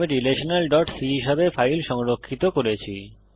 আমি relationalসি হিসাবে ফাইল সংরক্ষিত করেছি